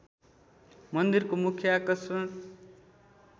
मन्दिरको मुख्य आकर्षण